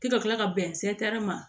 K'i ka kila ka bɛn ma